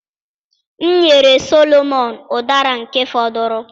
M nyere Solomon Udara nke fọduru.